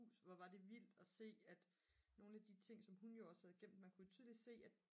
hus hvor var det vildt at se at nogle af de ting som hun jo også havde gemt man kunne jo tydeligt se at